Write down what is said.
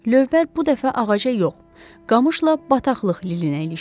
Lövbər bu dəfə ağaca yox, qamışla bataqlıq lilinə ilişdi.